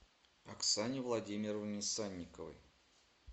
оксане владимировне санниковой